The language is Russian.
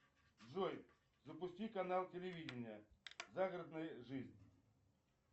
джой запусти канал телевидения загородная жизнь